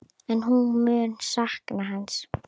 En hún mun sakna hans.